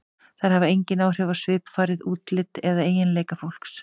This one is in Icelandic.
Þær hafa engin áhrif á svipfarið, útlit eða eiginleika fólks.